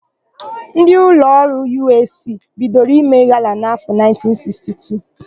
Ndị ụlọọrụ Yụeesii bidoro ime gala n'áfọ̀ 1962.